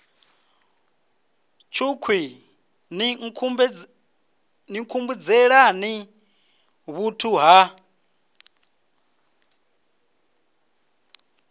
tshukhwii ni nkhumbudzelani vhuthu ha